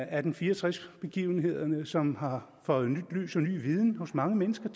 atten fire og tres begivenhederne som har føjet nyt lys til og ny viden hos mange mennesker